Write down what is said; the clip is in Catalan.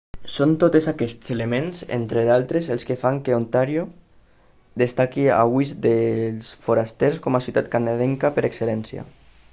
són totes aquests elements entre d'altres els que fan que ontario destaqui a ulls dels forasters com a ciutat canadenca per excel·lència